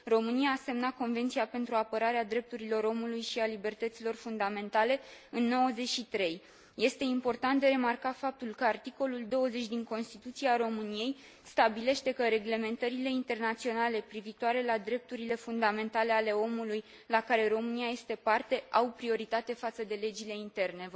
România a semnat Convenția pentru apărarea drepturilor omului și a libertăților fundamentale în 1993. Este important de remarcat faptul că articolul 20 din Constituția României stabilește că reglementările internaționale privitoare la drepturile fundamentale ale omului, la care România este parte, au prioritate față de legile interne